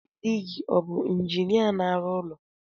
Dị gị o bu injinia na-arụ ụlọ